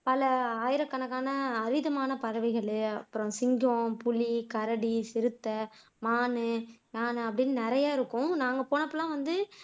பல ஆயிரக்கணக்கான அரிதான பறவைகள், அப்புறம் சிங்கம், புலி, கரடி, சிறுத்தை, மான் மான் அப்படின்னு நிறைய இருக்கும் நாங்க போனப்ப எல்லாம் வந்து